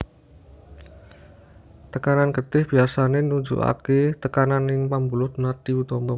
Tekanan getih biasané nunjukaké tekanan ing pambuluh nadi utama